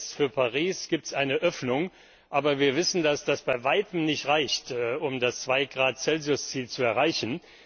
Jetzt für Paris gibt es eine Öffnung, aber wir wissen, dass das bei Weitem nicht reicht, um das 2 Grad Celsius Ziel zu erreichen.